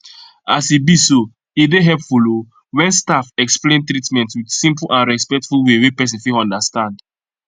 as e be so e dey helpful o when staff explain treatment with simple and respectful way wey person fit understand